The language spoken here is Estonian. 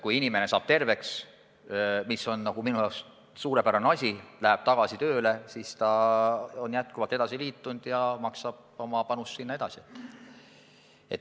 Kui inimene saab terveks – mis minu meelest on ju suurepärane – ja läheb tagasi tööle, siis on ta endiselt fondiga liitunud ja maksab oma panust sinna edasi.